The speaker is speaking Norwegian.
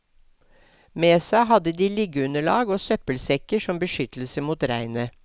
Med seg hadde de liggeunderlag og søppelsekker som beskyttelse mot regnet.